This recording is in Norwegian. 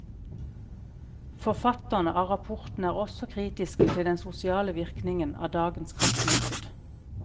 Forfatterne av rapporten er også kritiske til den sosiale virkningen av dagens kraftmarked.